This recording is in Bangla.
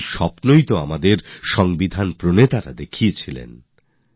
এই স্বপ্নই তো আমাদের সংবিধান রচয়িতারা দেখেছিলেন